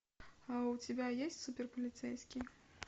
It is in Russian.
у тебя есть супер полицейский